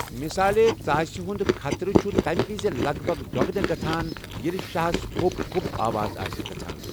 ِمثالے ژاسہِ ہُنٛد خطرٕچھ تَمہِ وِزِ لَگ بَھگ دۄگنہٕ گژھَان ییٚلہِ شاہَس 'ہو٘پ ہو٘پ' آواز آسہِ گژھان ۔